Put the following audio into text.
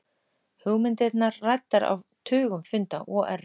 Hugmyndirnar ræddar á tugum funda OR